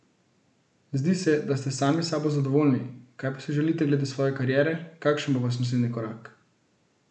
Zdi se, da ste sami s sabo zadovoljni, kaj pa si želite glede svoje kariere, kakšen bo vaš naslednji korak?